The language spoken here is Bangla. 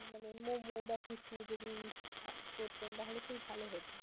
মানে momo বা কিছু যদি করতেন তাহলে খুবই ভালো হতো.